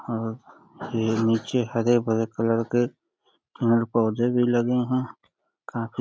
और ये नीचे हरे-भरे कलर के पेड़-पौधे भी लगे हैं। काफी --